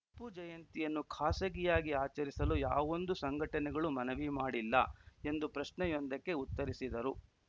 ಟಿಪ್ಪು ಜಯಂತಿಯನ್ನು ಖಾಸಗಿಯಾಗಿ ಆಚರಿಸಲು ಯಾವೊಂದು ಸಂಘಟನೆಗಳು ಮನವಿ ಮಾಡಿಲ್ಲ ಎಂದು ಪ್ರಶ್ನೆಯೊಂದಕ್ಕೆ ಉತ್ತರಿಸಿದರು